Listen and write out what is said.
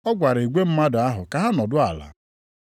Ọ gwara igwe mmadụ ahụ ka ha nọdụ ala.